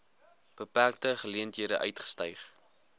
beperkte geleenthede uitgestyg